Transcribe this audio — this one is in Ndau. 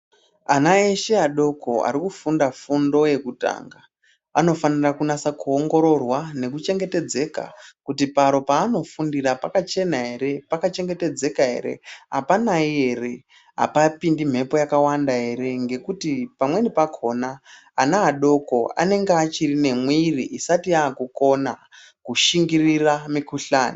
Ana eshe adoko ari kufunda fundo yekutanga anofanira kunasa kuongororwa nekuchengetedzeka kuti paro paanofundira pakachena ere pakachengetedzeka ere apanai ere apapondi mhepo yakawanda ere ngekuti pamweni pakhona ana adoko anenge achiri nemwiri isati yakukona kushingirira mukhuhlani.